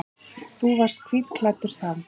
Þú varst hvítklæddur þá.